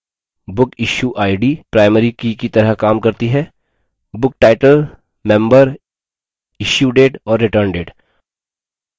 bookissueid primary की की तरह काम करती है booktitle member issuedate